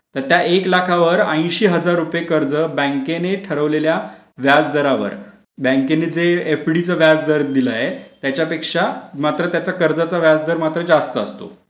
शकता एक लाखावर अंशी हजार रुपये कर्ज बँकेने ठरवलेल्या व्याजदरावर बँकेचे व्याजदर दिलाय त्याच्यापेक्षा मात्र त्याचा कर्जाचा व्याजदर मात्र जास्त असतो.